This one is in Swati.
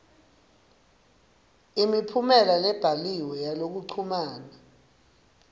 imiphumela lebhaliwe yalokuchumana